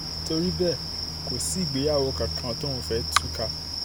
torí bẹ́ẹ̀ kò sí ìgbéyàwó kankan tóun fẹ́ẹ́ tú ká